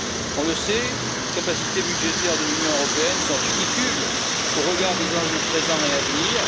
On le sait, les capacités budgétaires de l'Union européenne sont ridicules au regard des enjeux présents et à venir.